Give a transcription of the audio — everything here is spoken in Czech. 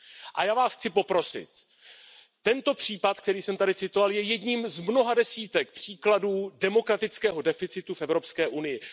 A já Vás chci poprosit tento příklad, který jsem tady citoval, je jedním z mnoha desítek příkladů demokratického deficitu v Evropské unii.